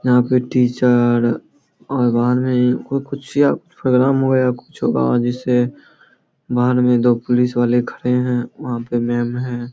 यहां पे टीचर और बाहर मे कोय कुछ या प्रोग्राम वगैरा कुछ होगा बाहर दो पुलिस वाले खड़े है वहां पे मेम है।